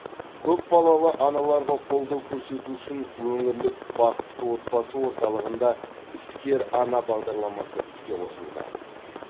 көпбалалы аналарға қолдау көрсету үшін өңірлік бақытты отбасы орталығында іскер ана бағдарламасы іске қосылды